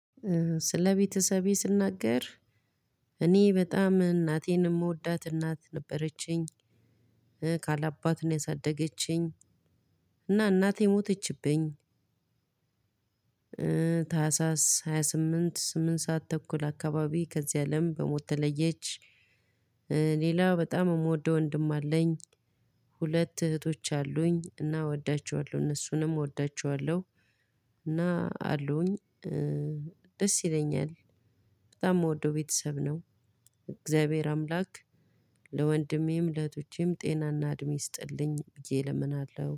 ስለ ቤተሰቤ ስናገር እኔ በጣም እናቴን የምወዳት እናት ነበረችኝ። ካል አባት ነው ያሳደገችኝ። እና እናቴ ሞተችብኝ። ታህሳስ ሃያ ስምንት ስምንት ሰዓት ተኩል አካባቢ ከዚህ አለም በሞት ተለየች። ሌላ በጣም የምወደው ወንድም አለኝ። ሁለት እህቶች አሉኝ እና እወዳቸዋለሁ እነሱንም እወዳቸዋለሁ። እና አሉኝ። ደስ ይለኛል። በጣም የምወደው ቤተሰብ ነው። እግዚአብሔር አምላክ ለወንድሜም ለእህቶቼም ጤናና እድሜ ይስጥልኝ ብዬ እለምናለሁ